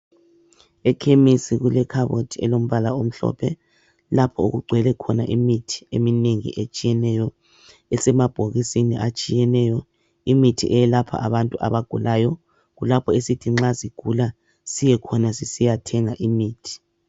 Ekhemesi kulekhabothi elombala omhlophe lapho okugcwele khona imithi eminengi etshiyeneyo esemabhokisini atshiyeneyo imithi eyelapha abantu abagulayo kulapho esithi nxa sigula siyekhona sisiyathenga imithi